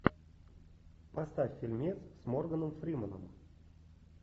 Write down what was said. поставь фильмец с морганом фрименом